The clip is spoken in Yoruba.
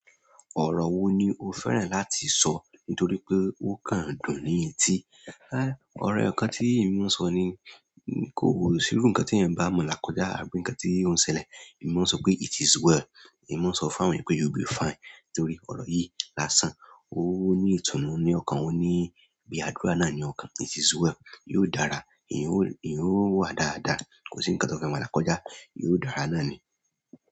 Ọ̀rọ̀ wo ni o fẹ́ràn láti sọ nítorí pé ó kan dùn ni etí? Há, ọ̀rọ̀ eyokan tí èmi máa ń sọ ni kó o sírú nǹkan tí èèyàn bá mo la kọ̀já àbí nǹkan tí òun ṣẹlẹ̀, èmi máa ń sọ pé "It is well". Emi maa n so fún àwọn eeyan pe you will be fine torí oro yi lásán. Ó ní ìtùnú ni ọkàn, ó ní bí àdúrà náà ni ọkàn. It is well, yóò dára, ẹ̀yin ó wà dáadáa, kò sí nǹkan tó fẹ́ mọ̀lẹ́kọ̀já, yóò dára náà ni.